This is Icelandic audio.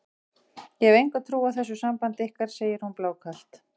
Ég hef enga trú á þessu sambandi ykkar, segir hún blákalt.